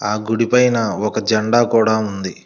ఆ గుడి పైన ఒక జెండా కూడా ఉంది.